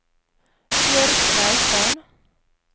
Bjørg Reitan